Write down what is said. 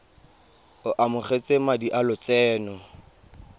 o amogetse madi a lotseno